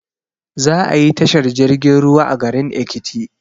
Za ayi tashar jirgin ruwa a garin ekiti